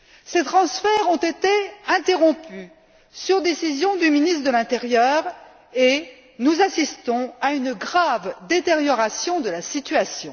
Ces transferts ont été interrompus sur décision du ministre de l'intérieur, et nous assistons et une grave détérioration de la situation.